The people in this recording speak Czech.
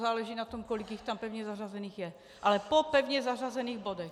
Záleží na tom, kolik jich tam pevně zařazených je, ale po pevně zařazených bodech.